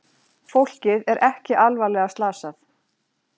Fólkið er ekki alvarlega slasað